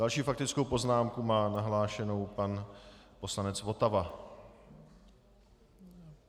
Další faktickou poznámku má nahlášenou pan poslanec Votava.